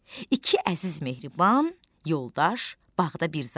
İki əziz mehriban yoldaş bağda bir zaman.